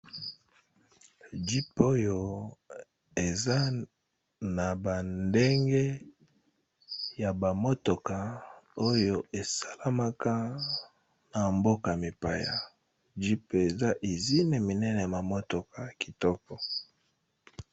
Jeep oyo eza na bandenge ya bamotoka oyo esalamaka na mboka-mipaya jp eza ezine minene bamotoka kitoko.